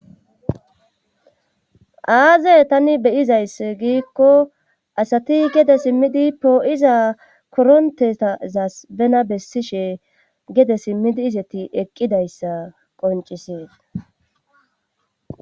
Aaze tani beyizayss giikko asati gede simmidi poo7iza korontetazas bena bessishe gede simmidi izeti eqqidayssa qonciseet